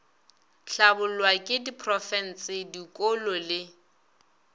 hlabollwa ke diprofense dikolo le